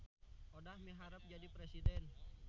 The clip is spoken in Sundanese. Odah miharep jadi presiden